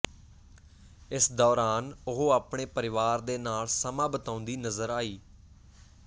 ਇਸ ਦੌਰਾਨ ਉਹ ਆਪਣੇ ਪਰਿਵਾਰ ਦੇ ਨਾਲ ਸਮਾਂ ਬਿਤਾਉਂਦੀ ਨਜ਼ਰ ਆਈ